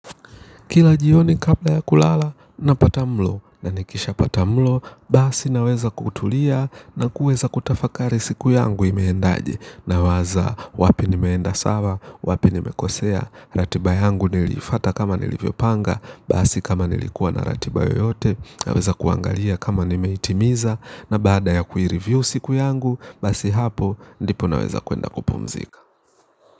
Kila jioni kahla ya kulala napata mlo na nikishapata mlo basi naweza kutulia na kuweza kutafakari siku yangu imeendaje nawaza wapi nimeenda sawa wapi nimekosea ratiba yangu niliifuata kama nilivyopanga basi kama nilikua na ratiba yeyote naweza kuangalia kama nimeitimiza, na baada ya kuireview siku yangu basi hapo ndipo naweza kwenda kupumzika.